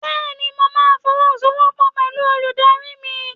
Bẹ́ẹ̀ni, Mo ma fọwọ́sowọ́pọ̀ pẹ̀lú olùdarí mi.